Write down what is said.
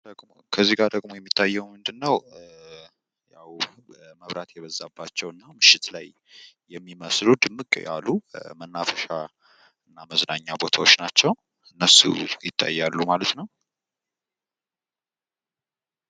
ከዚጋ ደሞ የሚታየዉ ምንድነው ያዉ መብራት የበዛባቸዉ እና ምሽት ላይ የሚመስሉ ድምቅ ያሉ መናፈሻ እና የመዝናኛ ቦታዎች ናቸዉ ፤ እነሱ ይታያሉ ማለት ነው።